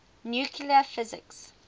nuclear physics